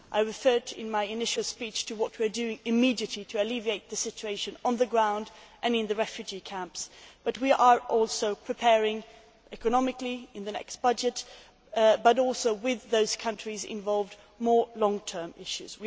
I referred in my initial speech to what we are doing immediately to alleviate the situation on the ground and in the refugee camps, but we are also preparing economically in the next budget and also with those countries involved more long term issues.